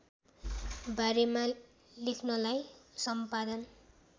बारेमा लेख्नलाई सम्पादन